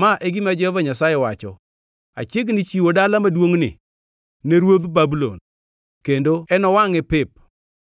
‘Ma e gima Jehova Nyasaye wacho: Achiegni chiwo dala maduongʼni ne ruodh Babulon, kendo enowangʼe pep.